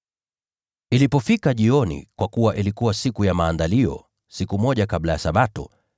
Ilipofika jioni, kwa kuwa ilikuwa Siku ya Maandalizi, yaani siku moja kabla ya Sabato,